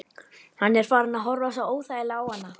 Hann er farinn að horfa svo óþægilega á hana.